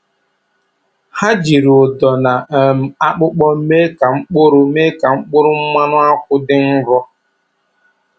Ha jiri ụdọ na um akpụkpọ mee ka mkpụrụ mee ka mkpụrụ mmanụ akwụ dị nro.